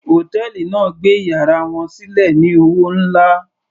Hòtẹ́ẹ̀lì náà gbé yàrá wọn sílẹ̀ ní owó nlá.